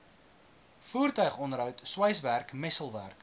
voertuigonderhoud sweiswerk messelwerk